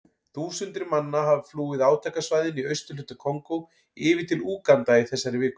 Þúsundir manna hafa flúið átakasvæðin í austurhluta Kongó yfir til Úganda í þessari viku.